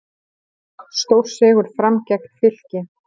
Stórsigur Fram gegn Fylki